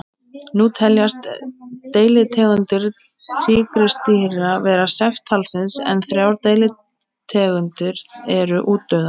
Nú teljast deilitegundir tígrisdýra vera sex talsins en þrjár deilitegundir eru útdauðar.